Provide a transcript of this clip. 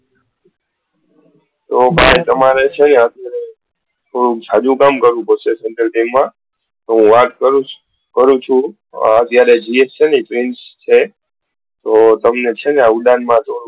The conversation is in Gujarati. તો ભાઈ તમારે છે ને તમારે થોડું જાજું કામ કરવું પડશે તો હું વાત કરું છુ અત્યારે BVM છે ને prince છે તો